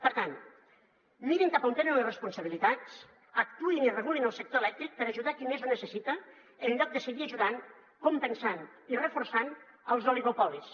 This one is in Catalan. per tant mirin cap a on tenen les responsabilitats actuïn i regulin el sector elèctric per ajudar a qui més ho necessita en lloc de seguir ajudant compensant i reforçant els oligopolis